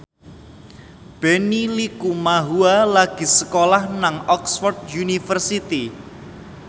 Benny Likumahua lagi sekolah nang Oxford university